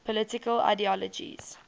political ideologies